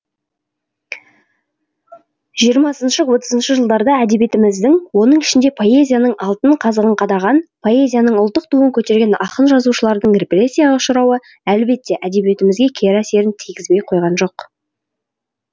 жиырмасыншы отызыншы жылдарда әдебиетіміздің оның ішінде поэзияның алтын қазығын қадаған поэзияның ұлттық туын көтерген ақын жазушылардың репрессияға ұшырауы әлбетте әдебиетімізге кері әсерін тигізбей қойған жоқ